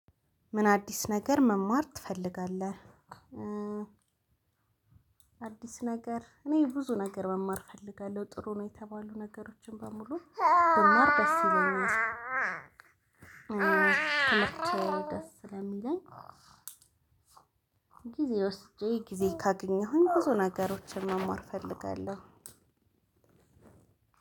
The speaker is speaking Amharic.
ምን አዲስ ነገር መማር ትፈልጋለህ? አዲስ ነገር እኔ ብዙ ነገር መማር እፈልጋለሁ ጥሩ ነው። የተባሉ ነገሮችን በሙሉ መማር ደስ ይለኛል ትምህርት ደስ ስለሚለኝ። ጊዜ ወስጄ ጊዜ ካገኘሁኝ ብዙ ነገሮችን መማር እፈልጋለሁ።